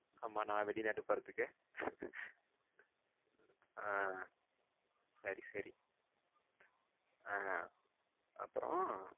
ஆமா நா வெளிநாட்டு போறதுக்கு அஹ சரி சரி அஹ அப்புறம்